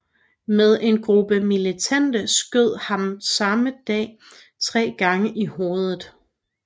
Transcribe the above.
Men en gruppe militante skød ham samme dag tre gange i hovedet